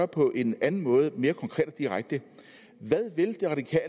på en anden måde mere konkret og direkte